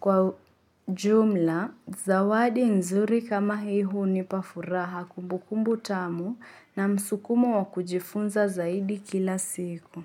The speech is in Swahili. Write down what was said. Kwa ujumla, zawadi nzuri kama hii hunipa furaha kumbukumbu tamu na msukumo wa kujifunza zaidi kila siku.